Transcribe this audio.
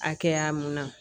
Hakɛya mun na